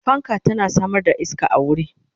fanka tana Samar da iska a wuri